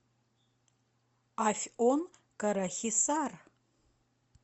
афьон карахисар